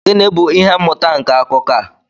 Gịnị bụ ihe mmụta nke akụkọ a?